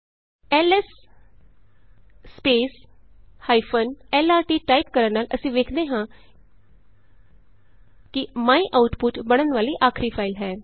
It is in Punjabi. ਐਲਐਸ lrt ਟਾਈਪ ਕਰਨ ਨਾਲ ਅਸੀਂ ਵੇਖ ਸਕਦੇ ਹਾਂ ਕਿ ਮਾਇਆਉਟਪੁਟ ਬਣਨ ਵਾਲੀ ਆਖਰੀ ਫਾਈਲ ਹੈ